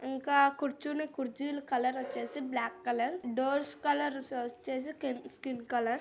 ఇంకా కుర్చుని కుర్చులు కలర్ వచ్చేసి బ్లాక్ కలర్ డోర్స్ కా----